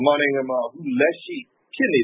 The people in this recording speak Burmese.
မာနိုင်ငံမှာ လက်ရှိဖြစ်နေ